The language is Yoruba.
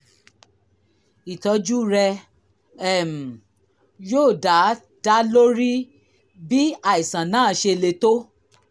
ìtọ́jú rẹ um yóò dá dá lórí bí àìsàn náà ṣe le tó